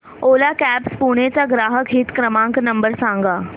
ओला cabs Pune चा ग्राहक हित क्रमांक नंबर सांगा